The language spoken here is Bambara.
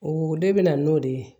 O de bɛ na n'o de ye